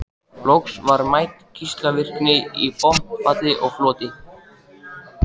Loks var mæld geislavirkni í botnfalli og floti.